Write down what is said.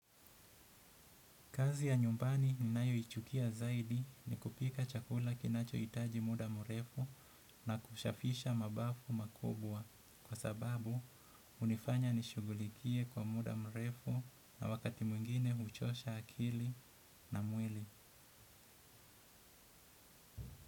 Kazi ya nyumbani ninayoichukia zaidi ni kupika chakula kinachoitaji muda murefu na kushafisha mabafu makubwa kwa sababu unifanya nishughulikie kwa muda mrefu na wakati mwingine huchosha akili na mwili.